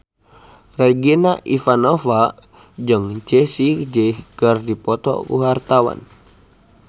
Regina Ivanova jeung Jessie J keur dipoto ku wartawan